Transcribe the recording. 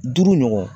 Duuru ɲɔgɔn